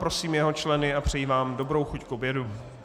Prosím jeho členy a přeji vám dobrou chuť k obědu.